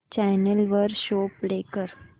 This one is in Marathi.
चॅनल वर शो प्ले कर